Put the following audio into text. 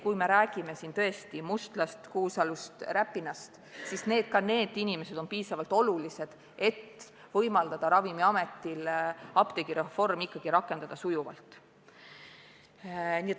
Kui me räägime siin Mustlast, Kuusalust, Räpinast – need inimesed on piisavalt olulised, et püüda võimaldada Ravimiametil apteegireform ikkagi rakendada sujuvalt.